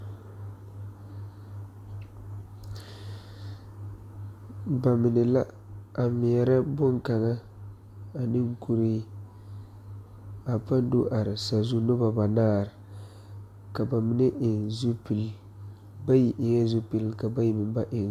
Nobɔ mine la a ngmeɛrɛ bon kaŋa ane kuree a paŋ do are sazu nobɔ banaare ka ba mine eŋ zupile bayi eŋɛɛ zupil ka bayi meŋ ba eŋ.